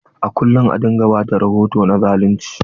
A kullum a dinga ba da rahoto na zalunci.